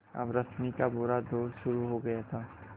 अब रश्मि का बुरा दौर शुरू हो गया था